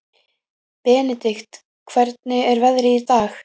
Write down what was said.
Benedikt, hvernig er veðrið í dag?